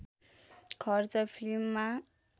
खर्च फिल्ममा